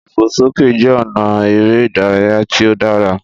Ìfòsókè jẹ́ ọ̀nà eré ìdárayá tí ó dára